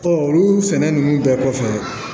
olu sɛnɛ ninnu bɛɛ kɔfɛ